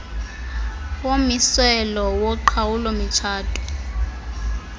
yommiselo woqhawulo mitshato